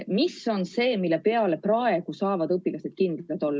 Mis on see, milles õpilased praegu saavad kindlad olla?